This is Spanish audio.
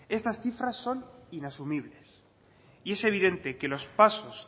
estas cifras son inasumibles y es evidente que los pasos